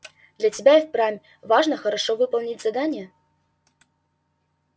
для тебя и впрямь важно хорошо выполнить задание